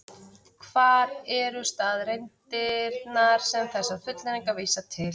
Hvar eru staðreyndirnar sem þessar fullyrðingar vísa til?